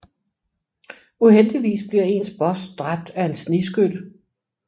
Uheldigvis bliver ens boss dræbt af en snigskytte